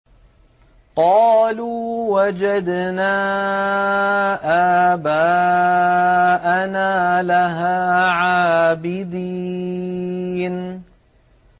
قَالُوا وَجَدْنَا آبَاءَنَا لَهَا عَابِدِينَ